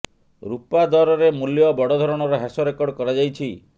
ରୁପା ଦରରେ ମୂଲ୍ୟ ବଡ଼ ଧରଣର ହ୍ରାସ ରେକର୍ଡ କରାଯାଇଛି